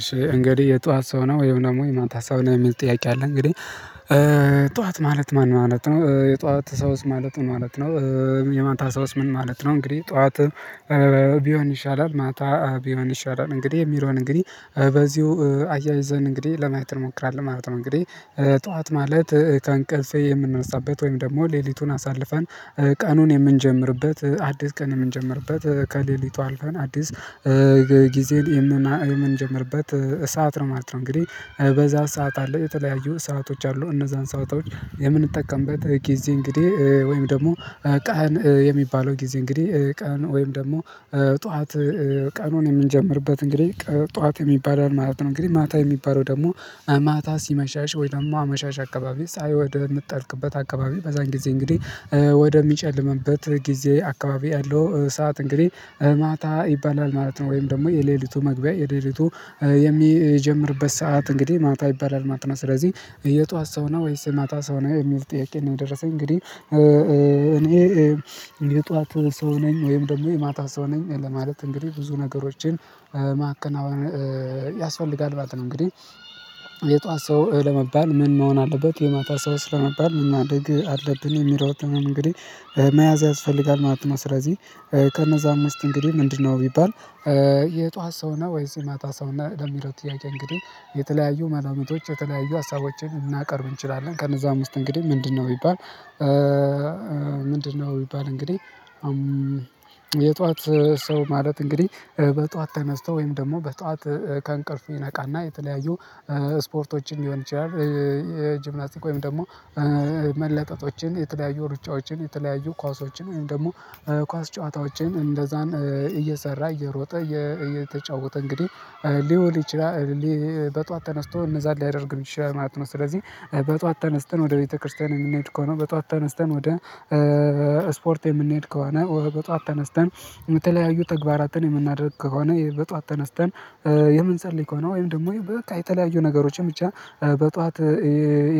እሺ እንግዲህ የጧት ሰው ነህ ወይም ደግሞ የማታ ሰው ነህ የሚል ጥያቄ አለ። እንግዲህ ጠዋት ማለት ማን ማለት ነው የጧት ሰውስ ማለት ምን ማለት ነው? የማታ ሰውስ ምን ማለት ነው? እንግዲህ ጠዋት ቢሆን ይሻላል ማታ ቢሆን ይሻላል እንግዲህ የሚለውን እንግዲህ በዚሁ አያይዘን እንግዲህ ለማየት እንሞክራለን ማለት ነው። እንግዲህ ጠዋት ማለት ከእንቅልፌ የምንነሳበት ወይም ደግሞ ሌሊቱን አሳልፋን ቀኑን የምንጀምርበት አዲስ ቀን የምንጀምርበት ከሌሊቱ አልፈን አዲስ ጊዜን የምንጀምርበት ሰዓት ነው ማለት ነው። እንግዲህ በዛ ሰዓት አለ የተለያዩ ሰአቶች አሉ። እነዛን ሰአቶች የምንጠቀምበት ጊዜ እንግዲህ ወይም ደግሞ ቀን የሚባለው ጊዜ እንግዲህ ቀን ወይም ደግሞ ጠዋት ቀኑን የምንጀምርበት እንግዲህ ጠዋት የሚባለው ማለት ነው። እንግዲህ ማታ የሚባለው ደግሞ ማታ ሲመሻሽ ወይም ደግሞ አመሻሽ አካባቢ ፀሀይ ወደ የምትጠልቅበት አካባቢ በዛን ጊዜ እንግዲህ ወደሚጨልምበት ጊዜ አካባቢ ያለው ሰዓት እንግዲህ ማታ ይባላል ማለት ነው። ወይም ደግሞ የሌሊቱ መግቢያ የሌሊቱ የሚጀምርበት ሰዓት እንግዲህ ማታ ይባላል ማት ነው። ስለዚህ የጧት ሰው ነው ወይስ ማታ ሰው ነህ የሚል ጥያቄ ነው። የደረሰኝ እንግዲህ እኔ የጧት ሰው ነኝ ወይም ደግሞ የማታ ሰው ነኝ ለማለት እንግዲህ ብዙ ነገሮችን ማከናወን ያስፈልጋል ማለት ነው። እንግዲህ የጧት ሰው ለመባል ምን መሆን አለበት የማታ ሰውስ ለመባል ምን ማድረግ አለብን የሚሮጠን እንግዲህ መያዝ ያስፈልጋል ማለት ነው። ስለዚህ ከነዛ አምስት እንግዲህ ምንድነው ቢባል የጧት ሰው ነህ ወይስ የማታ ሰው ነህ? ለሚለው ጥያቄ እንግዲህ የተለያዩ መላምቶች የተለያዩ ሀሳቦችን ልናቀርብ እንችላለን። ከነዛም ውስጥ እንግዲህ ምንድነው ቢባል ምንድነው ቢባል እንግዲህ ሰው ማለት እንግዲህ በጧት ተነስቶ ወይም ደግሞ በጧት ከእንቅልፉ ይነቃና የተለያዩ ስፖርቶችን ሊሆን ይችላል። የጂምናስቲክ ወይም ደግሞ መለጠጦችን የተለያዩ ሩጫዎችን የተለያዩ ኳሶችን ወይም ደግሞ ኳስ ጨዋታዎችን እንደዛን እየሰራ እየሮጠ እየተጫወተ እንግዲህ ሊውል ይችላል። በጧት ተነስቶ እነዛን ሊያደርግ የሚችል ማለት ነው። ስለዚህ በጧት ተነስተን ቤተክርስቲያን የምንሄድ ከሆነ በጧት ተነስተን ወደ ስፖርት የምንሄድ ከሆነ በጧት ተነስተን የተለያዩ ተግባራትን የምናደርግ ከሆነ በጧት ተነስተን የምንጸልይ ከሆነ ወይም ደግሞ በቃ የተለያዩ ነገሮችን ብቻ በጧት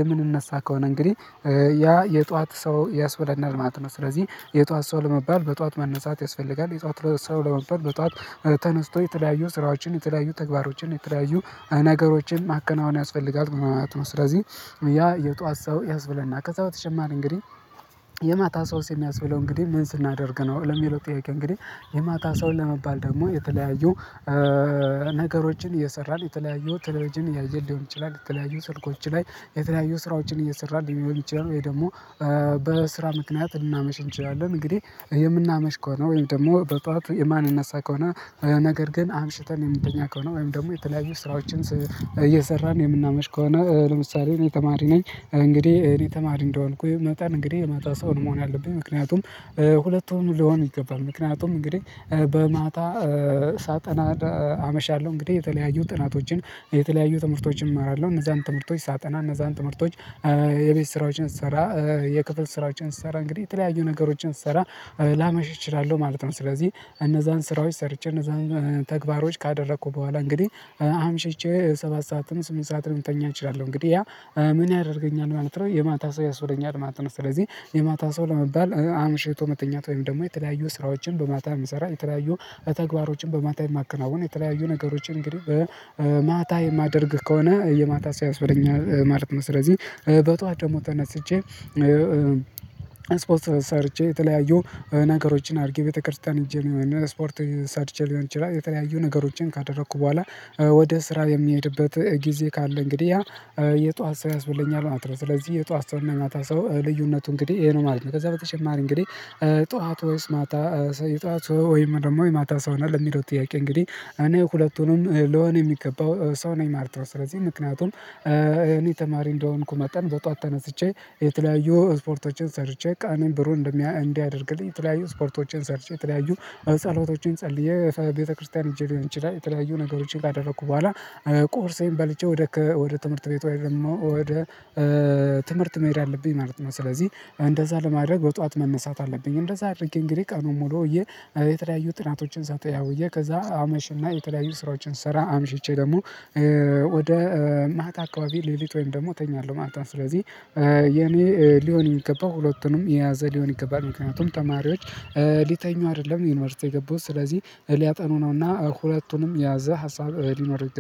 የምንነሳ ከሆነ እንግዲህ ያ የጧት ሰው ያስብለናል ማለት ነው። ስለዚህ የጧት ሰው ለመባል በጧት መነሳት ያስፈልጋል። የጧት ሰው ለመባል በጧት ተነስቶ የተለያዩ ስራዎችን የተለያዩ ተግባሮችን የተለያዩ ነገሮችን ማከናወን ያስፈልጋል ማለት ነው። ስለዚህ ያ የጧት ሰው ያስብለና ከዛ በተጨማሪ እንግዲህ የማታ ሰውስ የሚያስብለው እንግዲህ ምን ስናደርግ ነው? ለሚለው ጥያቄ እንግዲህ የማታ ሰውን ለመባል ደግሞ የተለያዩ ነገሮችን እየሰራን የተለያዩ ተሌብጅን እያየን ሊሆን ይችላል የተለያዩ ስልኮች ላይ የተለያዩ ስራዎችን እየሰራን ሊሆን ይችላል። ወይ ደግሞ በስራ ምክንያት ልናመሽ እንችላለን። እንግዲህ የምናመሽ ከሆነ ወይም ደግሞ በጧቱ የማንነሳ ከሆነ ነገር ግን አምሽተን የምንተኛ ከሆነ ወይም ደግሞ የተለያዩ ስራዎችን እየሰራን የምናመሽ ከሆነ ለምሳሌ እኔ ተማሪ ነኝ። እንግዲህ እኔ ተማሪ እንደሆንኩኝ መጠን እንግዲህ የማታ ሰው ነው መሆን ያለብኝ ምክንያቱም ሁለቱም ሊሆን ይገባል። ምክንያቱም እንግዲህ በማታ ሳጠና አመሻለሁ እንግዲህ የተለያዩ ጥናቶችን የተለያዩ ትምህርቶችን እመራለሁ እነዛን ትምህርቶች ሳጠና እነዛን ትምህርቶች የቤት ስራዎችን ስሰራ የክፍል ስራዎችን ስሰራ እንግዲህ የተለያዩ ነገሮችን ስሰራ ላመሽ እችላለሁ ማለት ነው። ስለዚህ እነዛን ስራዎች ሰርቼ እነዛን ተግባሮች ካደረኩ በኋላ እንግዲህ አምሽቼ ሰባት ሰዓትም ስምንት ሰዓትም ልተኛ እችላለሁ እንግዲህ ያ ምን ያደርገኛል ማለት ነው የማታ ሰው ያስብለኛል ማለት ነው። ስለዚህ የማታ ሰው ለመባል አምሽቶ መተኛት ወይም ደግሞ የተለያዩ ስራዎችን በማታ የምሰራ የተለያዩ ተግባሮችን በማታ የማከናውን የተለያዩ ነገሮችን እንግዲህ ማታ የማደርግ ከሆነ የማታ ሰው ያስብለኛል ማለት ነው። ስለዚህ በጧት ደግሞ ተነስቼ ስፖርት ሰርቼ የተለያዩ ነገሮችን አድርጌ ቤተክርስቲያን ሄጄ እና ስፖርት ሰርቼ ሊሆን ይችላል የተለያዩ ነገሮችን ካደረኩ በኋላ ወደ ስራ የሚሄድበት ጊዜ ካለ እንግዲህ ያ የጧት ሰው ያስብለኛል ማለት ነው። ስለዚህ የጧት ሰው እና የማታ ሰው ልዩነቱ እንግዲህ ይሄ ነው ማለት ነው። ከዛ በተጨማሪ እንግዲህ ጧት ወይስ ማታ የጠዋት ወይም ደግሞ የማታ ሰው ነህ? ለሚለው ጥያቄ እንግዲህ እኔ ሁለቱንም ልሆን የሚገባው ሰው ነኝ ማለት ነው። ስለዚህ ምክንያቱም እኔ ተማሪ እንደሆንኩ መጠን በጧት ተነስቼ የተለያዩ ስፖርቶችን ሰርቼ ቀኔን ብሩህ እንዲያደርግልኝ የተለያዩ ስፖርቶችን ሰርቼ የተለያዩ ጸሎቶችን ጸልዬ ቤተክርስቲያን ሂጄ ሊሆን ይችላል። የተለያዩ ነገሮችን ካደረኩ በኋላ ቁርሴን በልቼ ወደ ከ ወደ ትምህርት ቤት ወይ ደግሞ ወደ ትምህርት መሄድ አለብኝ ማለት ነው። ስለዚህ እንደዛ ለማድረግ በጧት መነሳት አለብኝ። እንደዛ አድርጌ እንግዲህ ቀኑን ሙሉ ውዬ የተለያዩ ጥናቶችን ሳጠና ውዬ ከዛ አመሽና የተለያዩ ስራዎችን ስሰራ አምሽቼ ደግሞ ወደ ማታ አካባቢ ሌሊት ወይም ደግሞ እተኛለሁ ማለት ነው። ስለዚህ የኔ ሊሆን የሚገባው ሁለቱንም የያዘ ሊሆን ይገባል። ምክንያቱም ተማሪዎች ሊተኙ አይደለም ዩኒቨርሲቲ የገቡት ስለዚህ ሊያጠኑ ነውና ሁለቱንም የያዘ ሀሳብ ሊኖር